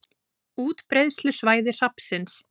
Útbreiðslusvæði hrafnsins.